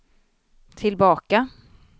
tillbaka